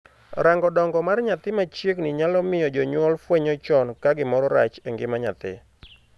Rango dongo mar nyathi machiegni nyalo miyo jonyuol fwenyo chon ka gimoro rach e ngima nyathi.